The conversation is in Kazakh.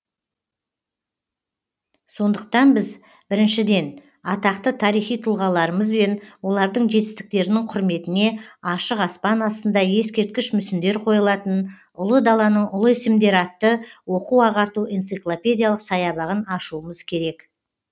сондықтан біз біріншіден атақты тарихи тұлғаларымыз бен олардың жетістіктерінің құрметіне ашық аспан астында ескерткіш мүсіндер қойылатын ұлы даланың ұлы есімдері атты оқу ағарту энциклопедиялық саябағын ашуымыз керек